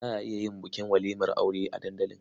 Za a iya yin bukin walimar aure a dandali.